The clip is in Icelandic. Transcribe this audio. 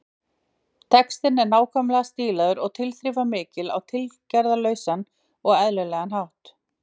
Textinn er nákvæmlega stílaður og tilþrifamikill á tilgerðarlausan og eðlilegan hátt.